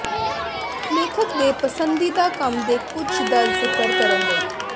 ਲੇਖਕ ਦੇ ਪਸੰਦੀਦਾ ਕੰਮ ਦੇ ਕੁਝ ਦਾ ਜ਼ਿਕਰ ਕਰਨ ਲਈ